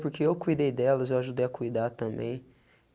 Porque eu cuidei delas, eu ajudei a cuidar também.